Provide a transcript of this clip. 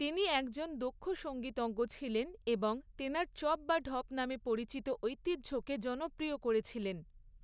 তিনি একজন দক্ষ সঙ্গীতজ্ঞ ছিলেন এবং তেনার চপ বা ঢপ নামে পরিচিত ঐতিহ্যকে জনপ্রিয় করেছিলেন।